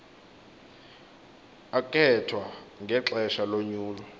akhethwa ngexesha lonyulo